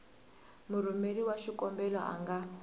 murhumeri wa xikombelo a nga